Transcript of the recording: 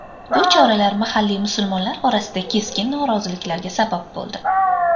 Bu choralar mahalliy musulmonlar orasida keskin noroziliklarga sabab bo‘ldi.